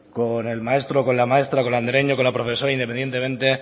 con el maestro o con la maestra con la andereño con la profesora independientemente